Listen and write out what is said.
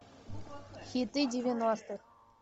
хиты девяностых